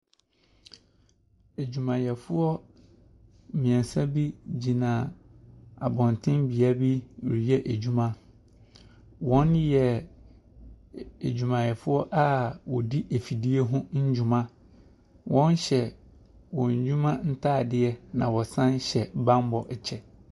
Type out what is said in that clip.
Adwumayɛfoɔ mmiɛnsa bi gyina abɔnten bea bi reyɛ adwuma. Wɔyɛ adwumayɛfoɔ a wɔdi mfidie ho ndwuma. Wɔhyɛ wɔn dwuma ntaadeɛ na wɔsan hyɛ bammɔ kyɛ.